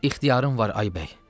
İxtiyarın var, ay bəy.